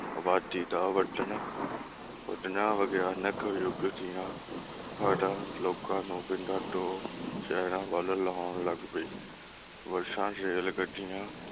ਅਬਾਦੀ ਦਾ ਵੱਧਣਾ ਵੱਧਣਾ ਵਿਗਿਆਨਿਕ ਜੁੱਗ ਦੀਆ ਲੋਕਾਂ ਨੂੰ ਪਿੰਡਾਂ ਤੋਂ ਸ਼ਹਿਰਾਂ ਵੱਲ ਲਿਓਨ ਲੱਗ ਪਈ ਬੱਸਾਂ, ਰੇਲਗੱਡੀਆਂ